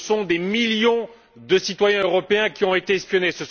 Ce sont des millions de citoyens européens qui ont été espionnés.